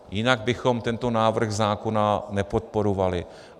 Jinak bychom tento návrh zákona nepodporovali.